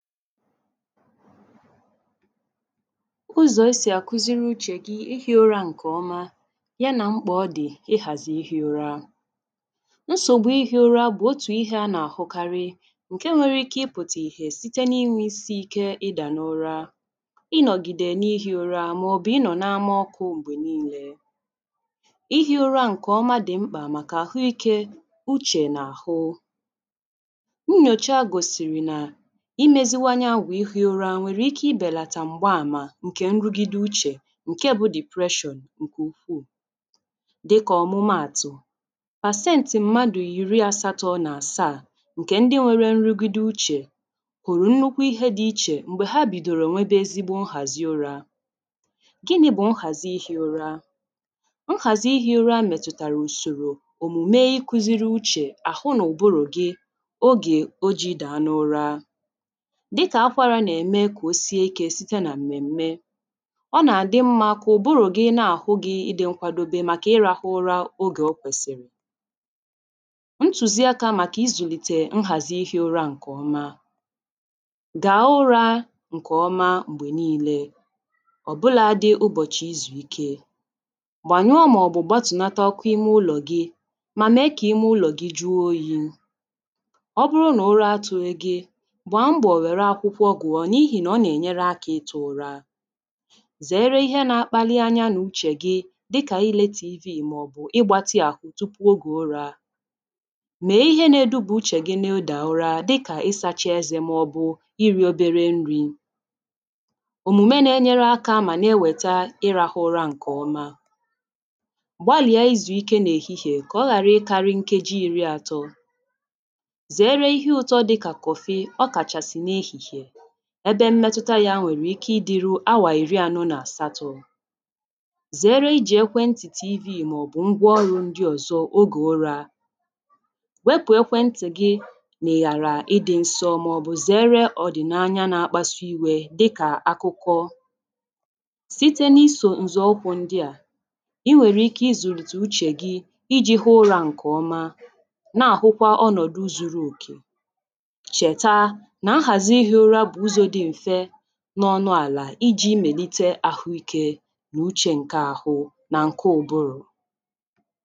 Ụzọ̀ esì àkuziri uchè gi ihī ụra ǹkèọma ya nà mkpà ọ dị̀ ihàzì ihī ura. Nsògbu ihī ụra bụ̀ otù ihē a nà-àhụkarị ǹke nwere ike ịpụ̀tà ìhè site na inwē isī ike ịdà n’ụra ịnọ̀gìdè n’ihī ụra màọ̀bụ̀ ịnọ̀ n’ama ọkụ̄ m̀gbè niilē Ihī ụra ǹkèọma dị̀ mkpà màkà àhụikē, uchè nà àhụ Nnyòcha gòsìrì nà imēziwanye àgwà ihī ụra wèrè ike ibèlàtà m̀gba àmà ǹkè nrụgideuchè ǹke bụ̄ ‘depression’ ǹkè ukwuù dikà òmụmaàtụ̀ pàseǹtị̀ mmadụ̀ ìri asatọ̄ nà àsaa ǹkè ndi nwere nrụgideuchè hụ̀rụ̀ nnukwu ihe dị̄ ichè m̀gbè ha bìdòrò nwebe ezigbo nhàzi ụrā Gịnị̄ bụ̀ nhàzi ihī ụra? Nhàzi ihī ura mètùtàrà ùsòrò, òmùme ikūziri uchè, àhụ nụ̀bụrụ̀ gị ogè ijī dàa n’ụra dịkà akwarā nà-ème kà o sie ikē site nà m̀mèm̀me Ọ nà-àdị mmā kà ụ̀bụrụ̀ gị́ na-àhụ gị̄ ịdị̄ nkwadebe màkà ịrāhụ ụra ogè o kwèsìrì Ntùzi akā màkà izùlìtè nhàzi ihī ura ǹkè ọma dàa ụrā ǹkè ọma m̀gbè niilē ọ̀bụlādị ụbọ̀chị̀ izù ike, gbànyụọ màọ̀bụ̀ gbatùlata ọkụ ime ụlọ̀ gị mà mèe kà ime ụlọ̀ gị juo oyī. Ọ bụrụ nà ụra atụ̄ghị̄ gị gbàa mbọ̀ wère akwụkwọ gụ̀ọ n’ihìnà ọ nà-ènyere akā ịtụ̄ ụra zèere ihe nā-agbalị anya nà uchè gi dịkà ilē TV màọ̀bụ̀ ịgbātị̄ àhụ tupu ogè ụrā mèe ihe nā-edubè uchè gi na ịdà ụra dịkà isāchā ezē màọ̀bụ̀ irī obere nrī. Òmùme nā-enyere akā mà na-ewèta ịrāhụ̄ ụra ǹkè ọma gbalị̀a izù ike n’èhihìe kà ọ ghàra ịkārị̄ nkeji ìri atọ zèere ihe ụtọ dịkà kọ̀fịị ọkàchàsị̀ n’ehìhìè ebe mmetuta yā nwèrè ike idīrū awà ìri anọ nà àsatọ̄ zèere ijì ekwentì TV màọ̀bụ̀ ngwa ọrụ̄ ndị ọ̀zọ ogè ụrā wepù ekwentì gị n’àlà ịdị̄ nsọ màọ̀bụ̀ zèere ọ̀dị̀naanya na-akpasu iwē dịkà akụkọ site na isò ǹzọ̀ ụkwụ̄ ndị à i nwèrè ike izùlìtè uchè gi ijī hụ ụrā ǹkè ọma na-àhụkwa ọnọ̀dụ zuru òkè, chèta nà nhàzi ihī ụra bụ̀ ụzọ̄ dị m̀fe nọ ọnụ àlà ijī mèlite àhụikē nùuchē ǹke ahụ nà ǹke ụbụrụ̀